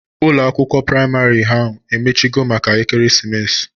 Ụlọ akwụkwọ praịmarị ahụ emechigo maka ekeresimesi?